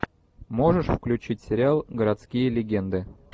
можешь включить сериал городские легенды